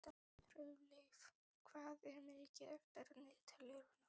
Hjörleif, hvað er mikið eftir af niðurteljaranum?